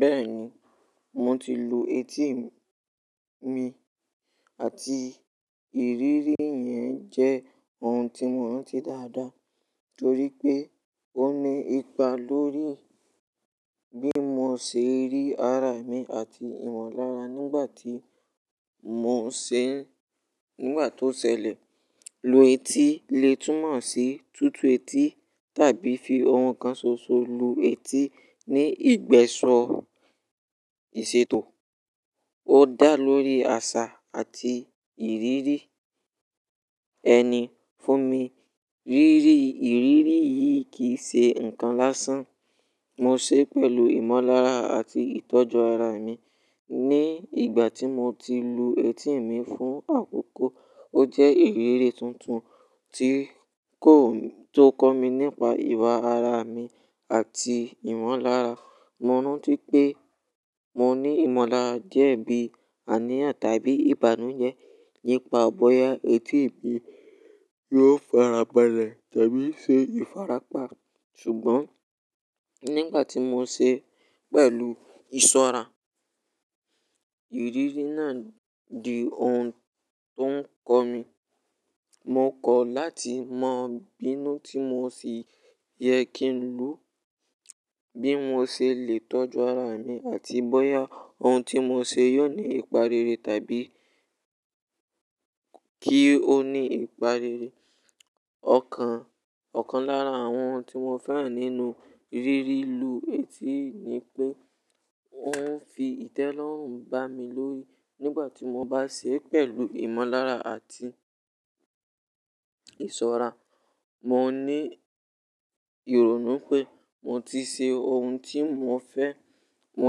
Bẹ́ẹ̀ni, mo ti lu etí mi àti ìrírí yẹn jẹ́ ohun tí mo rántí dáadáa torí pé ó ní ipa lórí bí mo ṣe rí ara mi àti ìmọ̀lára nígbà tí mò ń ṣe é. Nígbà tó ṣẹlẹ̀, lu etí lè túnmọ̀ sí tutù etí tàbí fi ohun kan ṣoṣo lu etí ní ìgbẹ́sọ ìṣètò. Ó dà lórí àṣà àti ìrírí ẹni fún mi. Ìrírí yìí kì í ṣe nǹkan lásán. Mo ṣe pẹ̀lú ìmọ̀lára àti ìtọ́jú ara mi. Ni ìgbà tí mo ti lu etí mi fún àkókò, ó jẹ́ ìrírí tuntun tó kọ́ mi nípa ìwà ara mi àti ìmọ̀lára. Mo rántí pé mo ní ìmọ̀lára díẹ̀ bí i àníyàn tàbí ìbànújẹ́ nípa bóyá etí mi yóò farabalẹ̀ tàbí ṣe ìfarapa. Ṣùgbọ́n nígbà tí mo ṣe é pẹ̀lú ìṣọ́ra, ìrírí náà di ohun tó ń kọ́ mi. Mo kọ̀ láti mọ̀ bínú tí mo sì yẹ kí lu, bí mo ṣe lè tọ́jú ara mi àti bóyá ohun tí mo ṣe yóò ní ìparere tàbí kí ó ní ìparere. Ọ̀kan lára àwọn ohun tí mo fẹ́ràn nínú rírí lu etí ni pé ó ń fi ìtẹ́lọ́rùn bá mi lórí. Nígbà tí mo bá ṣe é pẹ̀lù ìmọ̀lára àti ìṣọ́ra, mo ní ìrònú pé mo ti ṣe ohun tí mo fẹ́, mo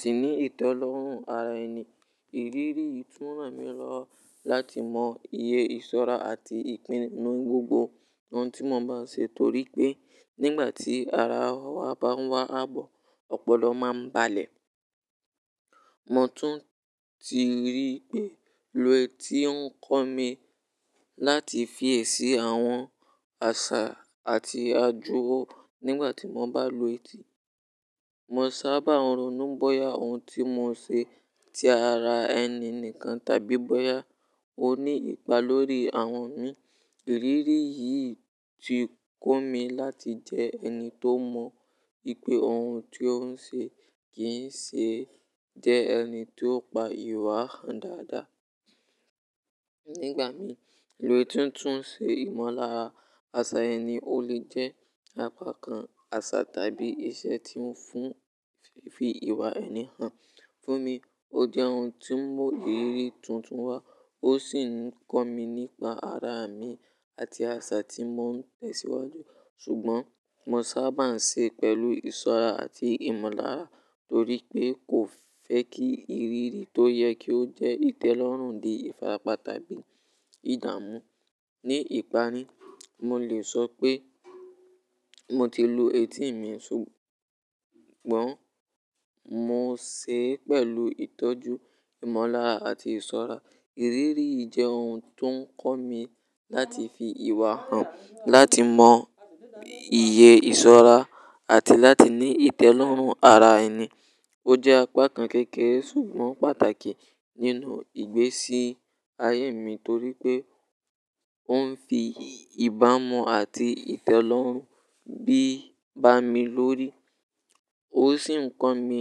sì ní ìtẹ́lọ́rùn ara ẹni. Ìrírí yìí tún ràn mí lọ láti mọ iye ìṣọ́ra àti ìpinnu ní gbogbo ohun tí mo bá ṣe torí pé nígbà tí ara wa bá ń wá àbọ̀, ọpọlọ máa ń balẹ̀. Mo tún ti rí pé lu etí ń kọ́ mi láti fi èsì àwọn àṣà àti ajọ́wọ́ nígbà tí mo bá lu etí. Mo sábà ronú bóyá ohun tí mo ṣe ti ara ẹni nìkan tàbí bóyá ó ní ipa lórí àwọn mi. Ìrírí yìí ti kọ́ mi láti jẹ ẹni tó mọ̀ ipé ohun tí ó ń ṣe kì í ṣe jẹ́ ẹni tó pa ìwà hàn dáadáa. Nígbà mìíràn, lu etí tún ṣe ìmọ̀lára àsà ẹni ó lè jẹ́ apá kan àsà tàbí ìṣe tí ó ń fi ìwà ẹni hàn. Fún mi, ó jẹ́ ohun tí ń mú ìrírí tuntun wá ó sì ń kọ́ mi nípa ara mi àti àsà tí mò ń tẹ̀síwájú. Ṣùgbọ́n mo sábà ń ṣe é pẹ̀lú ìṣọ́ra àti ìmọ̀lára torí pé kò fẹ́ kí ìrírí tó yẹ kó jẹ́ ìtẹ́lọ́rùn di ìfarapa tàbí ìdààmú. Ní ìpárí, mo lè sọ pé mo ti lu etí mi ṣùgbọ́n mo ṣe é pẹ̀lú ìtọ́jú, ìmọ̀lára àti ìṣọ́ra. Ìrírí yìí jẹ́ ohun tó ń kọ́ mi láti fi ìwà hàn, láti mọ iye ìṣọ́ra àti láti ní ìtẹ́lọ́rùn ara ẹni. Ó jẹ́ apá kan kékeré ṣùgbọ́n pàtàkì nínú ìgbésí ayé mi torí pé ó ń fi ìbámu àti ìtẹ́lọ́rùn bá mi lórí. Ó sì ń kọ́ mi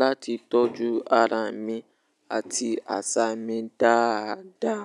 láti tọ́jú ara mi àti àsà mi dáadáa.